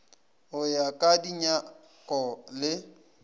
go ya ka dinyako le